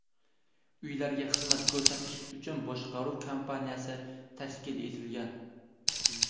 Uylarga xizmat ko‘rsatish uchun boshqaruv kompaniyasi tashkil etilgan.